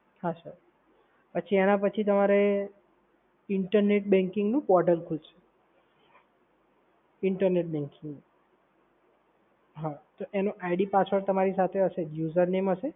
હા સર, પછી એના પછી તમારે internet banking નું પોર્ટલ ખુલશે, ઇન્ટરનેટ બેન્કિંગનું. હા, તો એનો id password તમારી સાથે હશે, username હશે